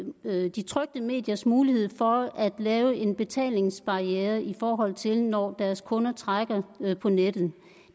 de trykte mediers mulighed for at lave en betalingsbarriere i forhold til når deres kunder trækker på nettet